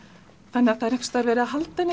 þannig að það er einhvers staðar verið að halda henni